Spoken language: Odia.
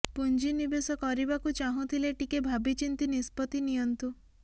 ପୁଞ୍ଜି ନିବେଶ କରିବାକୁ ଚାହୁଁଥିଲେ ଟିକେ ଭାବି ଚିନ୍ତି ନିଷ୍ପତ୍ତି ନିଅନ୍ତୁ